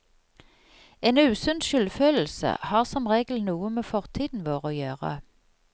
En usunn skyldfølelse har som regel noe med fortiden vår å gjøre.